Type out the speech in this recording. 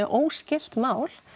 óskylt mál